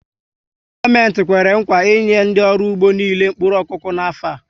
Gọọmenti Kwèrè nkwà i enye ndị ọrụ ugbo niile mkpụrụ okụkụ n'afọ a